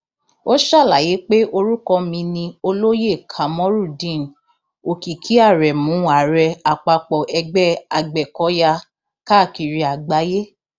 ó ṣàlàyé pé orúkọ mi ni olóyè kamorudeen òkìkí aremu ààrẹ àpapọ ẹgbẹ agbẹkọyà káàkiri àgbáyé